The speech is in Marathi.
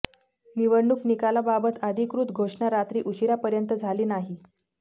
निवडणूक निकालाबाबत अधिकृत घोषणा रात्री उशिरापर्यंत झाली नाही